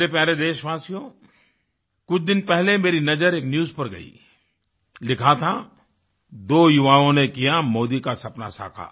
मेरे प्यारे देशवासियो कुछ दिन पहले मेरी नज़र एक न्यूज़ पर गई लिखा था दो युवाओं ने किया मोदी का सपना साकार